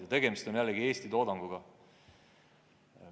Ja tegemist on jällegi Eesti toodanguga.